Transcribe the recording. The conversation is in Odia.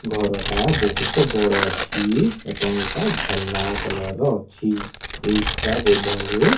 ଘରଟା ବୋହୁତ ବଡ଼ ଅଛି ଏବଂ ଏଇଟା ଧଲା କଲର ର ଅଛି ଏଇଟା ବୋଧହୁଏ --